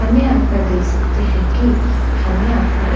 हम यहाँ पर देख सकते हैं कि हमें यहाँ पर एक --